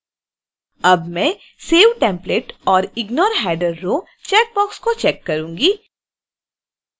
अब मैं save template और ignore header row चैकबॉक्स को चैक करूंगी